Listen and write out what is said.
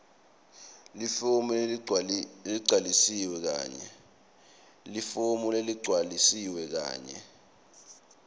lifomu leligcwalisiwe kanye